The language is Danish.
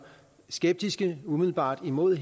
skeptiske og umiddelbart imod